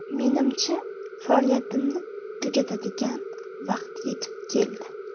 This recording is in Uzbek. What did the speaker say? Menimcha, faoliyatimni tugatadigan vaqt yetib keldi.